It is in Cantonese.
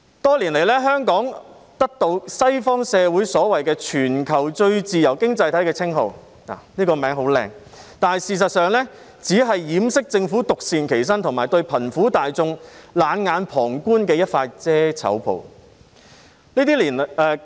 多年來，香港得到西方社會所謂"全球最自由經濟體"的稱號，這個名稱很美麗，但事實上，只是掩飾政府獨善其身及對貧苦大眾冷眼旁觀的一塊遮醜布。